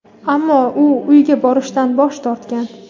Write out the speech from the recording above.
ammo u uyiga borishdan bosh tortgan.